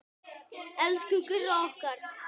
Elsku Gurra okkar.